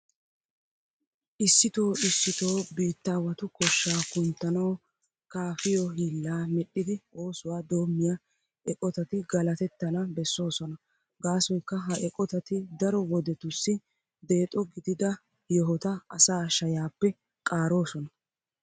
Issitoo issitoo biittaawatu koshshaa kunttanawu kaafiyo hiillaa medhdhidi oosuwa doommiya eqotati galatettana bessoosona. Gaasoykka ha eqotati daro wodetussi deexo gidida yohota asaa shayaappe qaaroosona.